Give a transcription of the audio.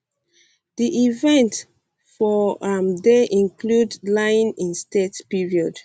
di events um for am dey include lying in state period